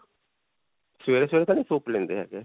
ਸਵੇਰੇ-ਸਵੇਰੇ ਤਾਂ ਨਹੀਂ soup ਲੈਂਦੇ ਹੈਗੇ.